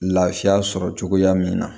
Lafiya sɔrɔ cogoya min na